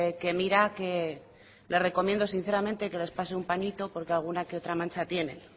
que mira que le recomiendo sinceramente que les pase un pañito porque alguna que otra mancha tienen